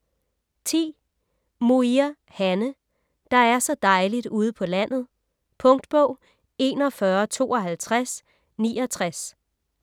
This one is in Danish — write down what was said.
Muir, Hanne: - der er så dejligt ude på landet ... Punktbog 415269